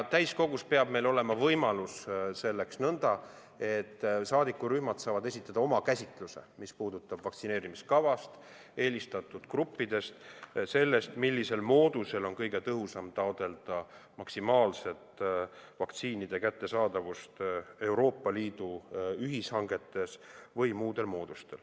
Täiskogus peab meil olema võimalus, et saadikurühmad saavad esitada oma käsitluse, mis puudub vaktsineerimiskava, eelistatud gruppe, seda, millisel moodusel on kõige tõhusam taotleda maksimaalset vaktsiinide kättesaadavust Euroopa Liidu ühishangetes või muudel moodustel.